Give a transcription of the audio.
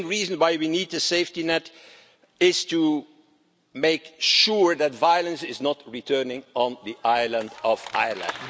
The main reason why we need the safety net is to make sure that violence does not return on the island of Ireland.